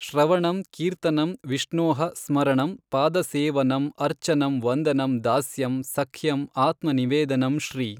ಶ್ರವಣಂ ಕೀರ್ತನಂ ವಿಷ್ಣೋಃ ಸ್ಮರಣಂ ಪಾದಸೇವನಮ್ ಅರ್ಚನಂ ವಂದನಂ ದಾಸ್ಯಂ ಸಖ್ಯಂ ಆತ್ಮ ನಿವೇದನಮ್ ಶ್ರೀ.